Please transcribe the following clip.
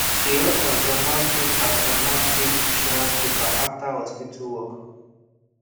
she help her grandma fill her grandma fill insurance paper after hospital work